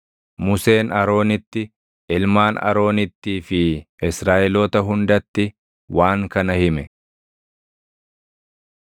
Museen Aroonitti, ilmaan Aroonittii fi Israaʼeloota hundatti waan kana hime.